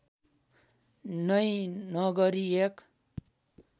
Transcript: नै नगरी एक